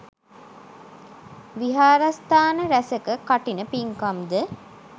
විහාරස්ථාන රැසක කඨින පින්කම් ද